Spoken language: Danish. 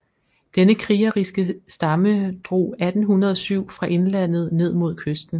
Denne krigeriske stamme drog 1807 fra indlandet ned mod kysten